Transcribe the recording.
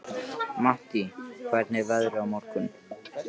Mattý, hvernig er veðrið á morgun?